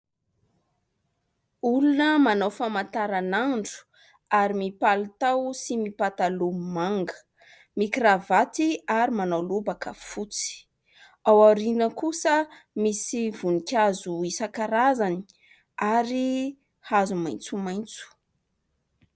Olona manao famantaran'andro ary mipalitao sy mipataloha manga, mikiravaty ary manao lobaka fotsy, aoriana kosa misy voninkazo isan-karazany ary hazo maitsomaitso.